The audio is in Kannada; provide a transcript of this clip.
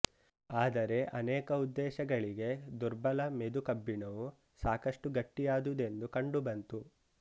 ಆದರೆ ಅನೇಕ ಉದ್ದೇಶಗಳಿಗೆ ದುರ್ಬಲ ಮೆದು ಕಬ್ಬಿಣವು ಸಾಕಷ್ಟು ಗಟ್ಟಿಯಾದುದೆಂದು ಕಂಡುಬಂತು